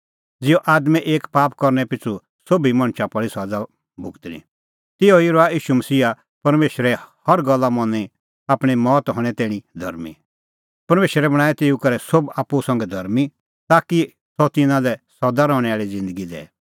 ज़िहअ आदमे एक पाप करनै पिछ़ू सोभी मणछा पल़ी सज़ा भुगतणीं तिहअ ई रहअ ईशू मसीहा परमेशरे हर गल्ला मनी आपणीं मौत हणैं तैणीं धर्मीं परमेशरै बणांऐं तेऊ करै सोभै आप्पू संघै धर्मीं ताकि सह तिन्नां लै सदा रहणैं आल़ी ज़िन्दगी दैए